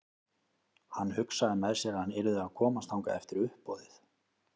Hann hugsaði með sér að hann yrði að komast þangað eftir uppboðið.